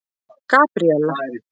Gabríella